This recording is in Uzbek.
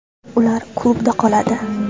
Ular klubda qoladi.